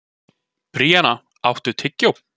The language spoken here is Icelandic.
Bríanna, áttu tyggjó?